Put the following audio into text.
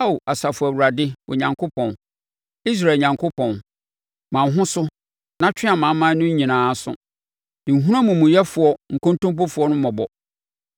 Ao Asafo Awurade Onyankopɔn, Israel Onyankopɔn, ma wo ho so na twe amanaman no nyinaa aso; nhunu amumuyɛfoɔ nkontompofoɔ no mmɔbɔ.